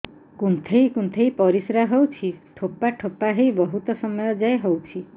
କୁନ୍ଥେଇ କୁନ୍ଥେଇ ପରିଶ୍ରା ହଉଛି ଠୋପା ଠୋପା ହେଇ ବହୁତ ସମୟ ଯାଏ ହଉଛି